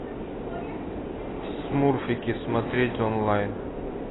смурфики смотреть онлайн